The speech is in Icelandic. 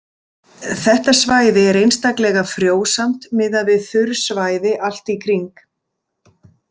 Þetta svæði er einstaklega frjósamt miðað við þurr svæði allt í kring.